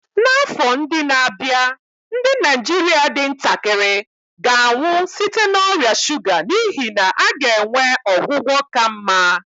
N'afọ ndị na-abịa, ndị Naijiria dị ntakịrị ga-anwụ site na ọrịa shuga n'ihi na a ga-enwe ọgwụgwọ ka mma.